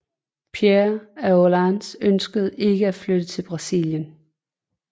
Pierre af Orléans ønskede ikke at flytte til Brasilien